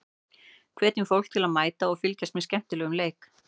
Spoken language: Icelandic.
Hvetjum fólk til að mæta og fylgjast með skemmtilegum leik.